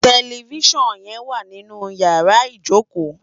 Tèlèfisán yèn wá ninú iyàrá ijókó